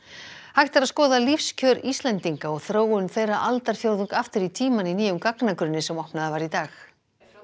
hægt er að skoða lífskjör Íslendinga og þróun þeirra aldarfjórðung aftur í tímann í nýjum gagnagrunni sem opnaður var í dag